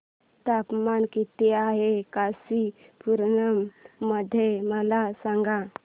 तापमान किती आहे कांचीपुरम मध्ये मला सांगा